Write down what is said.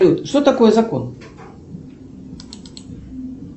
что такое закон